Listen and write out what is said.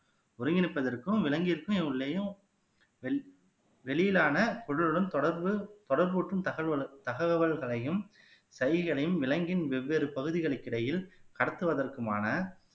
ஒருங்கிணைப்பதற்கும் விலங்கிற்கும் உள்ளேயும் வெ வெளியிலான குழுவுடன் தொடர்பு தொடர்பு ஊட்டும் தகவ தகவல்களையும் விலங்கின் வெவ்வேறு பகுதிகளுக்கு இடையில் கடத்துவதற்குமான